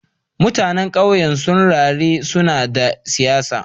Mutanen kauyen suna rera sunan dan siyasa